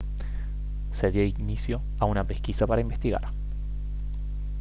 se dio inicio a una pesquisa para investigar